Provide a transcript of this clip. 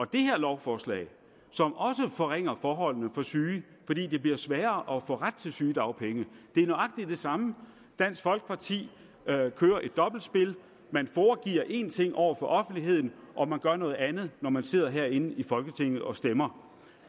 det her lovforslag som også forringer forholdene for syge fordi det bliver sværere at få ret til sygedagpenge er nøjagtig det samme dansk folkeparti kører et dobbeltspil man foregiver én ting over for offentligheden og man gør noget andet når man sidder herinde i folketinget og stemmer